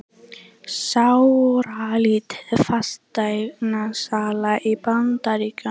Sáralítil fasteignasala í Bandaríkjunum